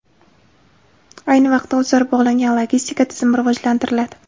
Ayni vaqtda o‘zaro bog‘langan logistika tizimi rivojlantiriladi.